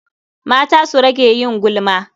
Mata su rage yin gulma.